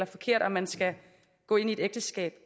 forkert om man skal gå ind i et ægteskab